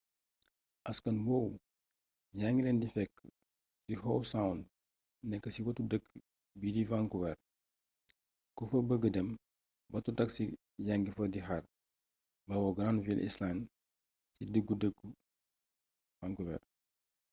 askan woowu yaa ngi leen di fekk ci howe sound nekk ci wetu dëkk bii di vancouver ku fa bëgga dem bato taxi yaa ngi fa di xaar bawoo granville island ci diggu dëkku vancouver